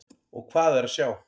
Og hvað er að sjá?